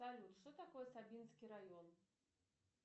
салют что такое сабинский район